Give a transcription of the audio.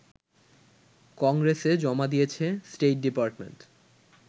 কংগ্রেসে জমা দিয়েছে স্টেট ডিপার্টমেন্ট